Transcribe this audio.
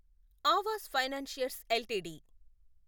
Awas financiers LTD